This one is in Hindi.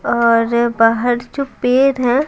और बाहर जो पेर है--